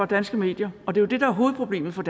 danske medier og det er det der er hovedproblemet for